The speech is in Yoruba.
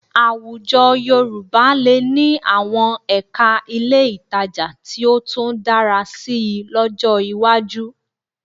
Àwùjọ Yorùbá lè ní àwọn ẹ̀ka ilé ìtajà tí ó tún dára síi lọ́jọ́ iwájú